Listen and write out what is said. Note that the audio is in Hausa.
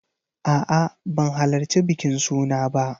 A'a, ban halarci bikin suna ba.